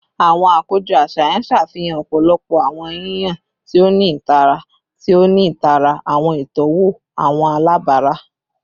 Awọn akojọ aṣayan ṣafihan ọpọlọpọ awọn yiyan ti o ni itara, ti o ni itara awọn itọwo awọn alabara